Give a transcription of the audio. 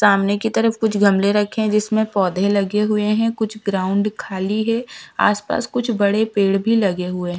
सामने की तरफ कुछ गमले रखे है जिसमे पौधे लगे हुए हैं कुछ ग्राउंड खाली है आस पास कुछ बड़े पेड़ भी लगे हुए हैं--